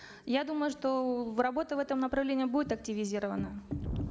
я думаю что работа в этом направлении будет активизирована